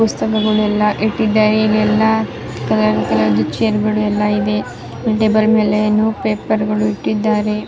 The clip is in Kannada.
ಪುಸ್ತಕಗಳು ಎಲ್ಲ ಇಟ್ಟಿದೆ ಇಲ್ಲಿ ಎಲ್ಲ ಕಲರ್ ಕಲರ್ ಚೇರ್ ಗಳು ಎಲ್ಲ ಇವೆ ಟೇಬಲ್ ಮೇಲೆ ಏನೋ ಪೇಪರ್ ಗಳು ಇಟ್ಟಿದ್ದಾರೆ- --